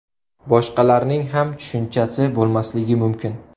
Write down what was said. Boshqalarning ham tushunchasi bo‘lmasligi mumkin.